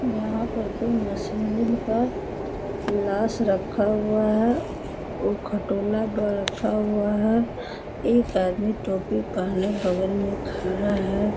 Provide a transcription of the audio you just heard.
यहाँ पर कोई मशीलीम का लाश रखा हुआ है उ खटोला पर रखा हुआ है एक आदमी टोपी पहेने बगल में खड़ा है।